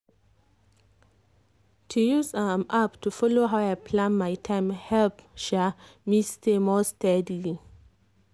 to use um app to follow how i plan my time help um me stay more steadily.